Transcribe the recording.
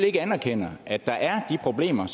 ikke anerkender at der er de problemer